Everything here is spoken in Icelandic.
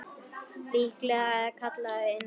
Líklega er það kallað innsæi.